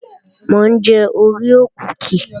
Mò ń jẹ oreo kúkì